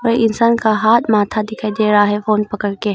इंसान का हाथ आधा दिखाई दे रहा है फोन पड़क के--